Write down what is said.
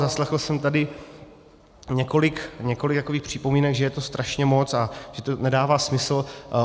Zaslechl jsem tady několik připomínek, že je to strašně moc a že to nedává smysl.